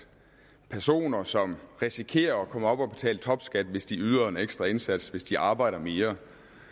personer som risikerer at komme op og betale topskat hvis de yder en ekstra indsats hvis de arbejder mere